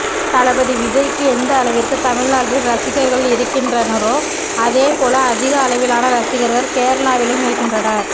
தளபதி விஜய்க்கு எந்த அளவிற்கு தமிழ்நாட்டில் ரசிகர்கள் இருக்கின்றனரோ அதோ போல அதிக அளவிலான ரசிகர்கள் கேரளாவிலும் இருக்கின்றனர்